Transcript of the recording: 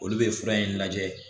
Olu bɛ fura in lajɛ